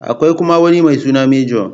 Akwai kuma wani mai suna Major.